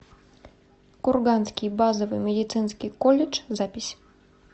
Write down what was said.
курганский базовый медицинский колледж запись